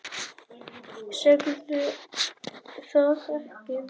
Segðu það ekki